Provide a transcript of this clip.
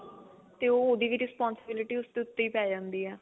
ਤੇ ਉਹ ਉਹਦੀ ਵੀ responsibility ਉਸਦੇ ਉੱਤੇ ਹੀ ਪੈ ਜਾਂਦੀ ਏ